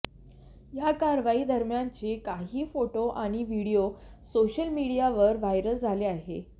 या कारवाई दरम्यानचे काही फोटो आणि व्हिडीओ सोशल मीडियावर व्हायरल झाले आहे